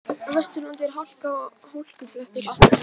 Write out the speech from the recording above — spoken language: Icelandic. Á Vesturlandi er hálka og hálkublettir